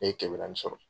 Ne ye kɛmɛ naani sɔrɔ